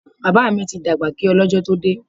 Bàbá mi ti dàgbà kí ọ lọ́jọ́ tó dé.